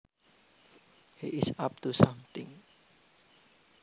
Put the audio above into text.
He is up to something